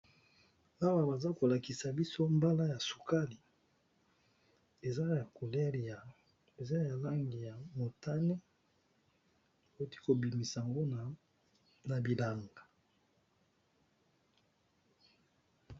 Awa bazo lakisa viso mala ya sukali eaa na Langi ya motane pe na Langi ya pembe na kati nango